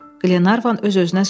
Qlenarvan öz-özünə soruşdu.